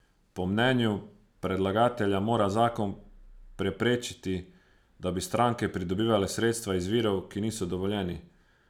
Po mnenju predlagatelja mora zakon preprečiti, da bi stranke pridobivale sredstva iz virov, ki niso dovoljeni.